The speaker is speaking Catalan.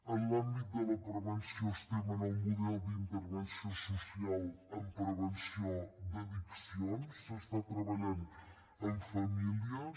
en l’àmbit de la prevenció estem en el model d’intervenció social en prevenció d’addiccions s’està treballant amb famílies